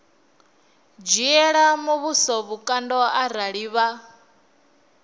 dzhiela muvhuso vhukando arali vha